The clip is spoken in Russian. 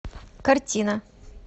картина